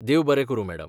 देव बरें करूं मॅडम.